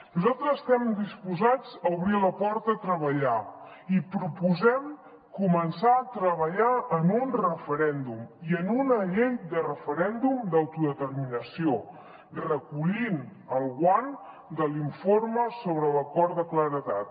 nosaltres estem disposats a obrir la porta a treballar i proposem començar a treballar en un referèndum i en una llei de referèndum d’autodeterminació recollint el guant de l’informe sobre l’acord de claredat